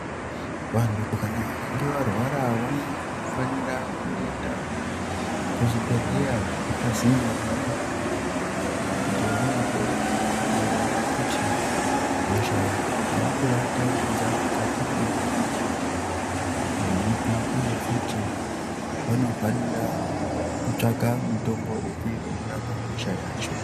Vantu vakange varwara vanofanire kuzvibhehlera zviri pazinde navo kuti vanohloyiwa kuona kuti hosha iri kuvatambudza mukati mwenyama yavo ndeyipi uye futi vanofanira kutsvaka mutombo unorapa hosha yacho.